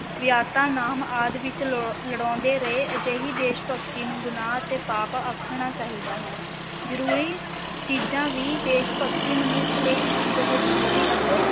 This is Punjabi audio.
ਵੀਅਤਨਾਮ ਆਦਿ ਵਿੱਚ ਲ~ ਲੜਾਉਂਦੇ ਰਹੇ, ਅਜਿਹੀ ਦੇਸ਼-ਭਗਤੀ ਨੂੰ ਗੁਨਾਹ ਅਤੇ ਪਾਪ ਆਖਣਾ ਚਾਹੀਦਾ ਹੈ ਜ਼ਰੂਰੀ ਚੀਜ਼ਾਂ ਵੀ ਦੇਸ ਭਗਤੀ ਮਨੁੱਖ ਲਈ ਇੱਕ ਬਹੁਤ ਜ਼ਰੂਰੀ ਅਤੇ